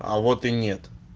а вот и нет